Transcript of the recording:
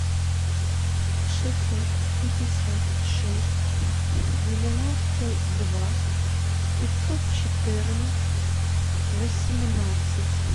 шестьсот пятьдесят шесть девяносто два пятьсот четырнадцать восемнадцать